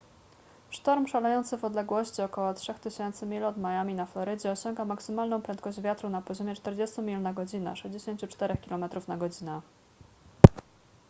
sztorm szalejący w odległości ok. 3000 mil od miami na florydzie osiąga maksymalną prędkość wiatru na poziomie 40 mil na godzinę 64 km/godz.